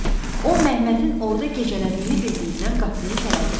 O Məmmədin orda gecələdiyini bildiyindən qapını itələdi.